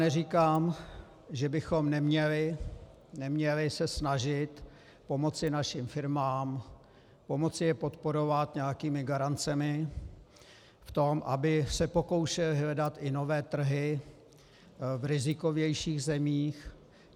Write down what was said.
Neříkám, že bychom se neměli snažit pomoci našim firmám, pomoci je podporovat nějakými garancemi v tom, aby se pokoušely hledat i nové trhy v rizikovějších zemích.